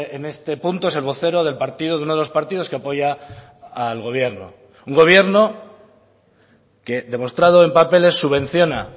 en este punto es el vocero del partido de uno de los partidos que apoya al gobierno un gobierno que demostrado en papeles subvenciona